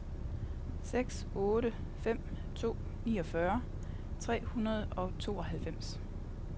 seks otte fem to niogfyrre tre hundrede og tooghalvfems